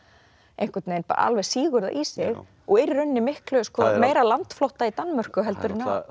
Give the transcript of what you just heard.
einhvern veginn alveg sýgur það í sig og er í rauninni miklu meira landflótta í Danmörku en á